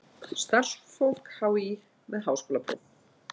Starfsfólk HÍ með háskólapróf.